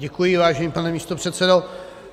Děkuji, vážený pane místopředsedo.